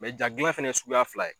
Mɛ ja gilan fɛnɛ ye suguya fila ye